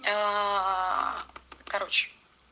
аа короче